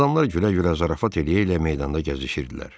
Adamlar gülə-gülə, zarafat eləyə-elə meydanda gəzişirdilər.